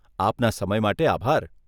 આપના સમય માટે આભાર.